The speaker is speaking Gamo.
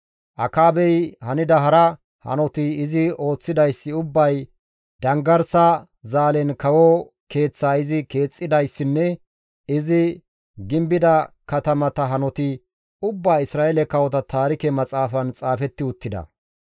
Akaabey hanida hara hanoti, izi ooththidayssi ubbay, danggarsa zaalen kawo keeththaa izi keexxidayssinne izi gimbida katamata hanoti ubbay Isra7eele kawota taarike maxaafan xaafetti uttida.